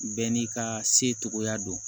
Bɛɛ n'i ka secogoya don